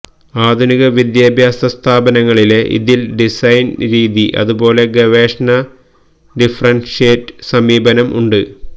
ആധുനിക വിദ്യാഭ്യാസ സ്ഥാപനങ്ങളിലെ ഇതിൽ ഡിസൈൻ രീതി അതുപോലെ ഗവേഷണ ഡിഫറൻഷ്യേറ്റഡ് സമീപനം ഉണ്ട്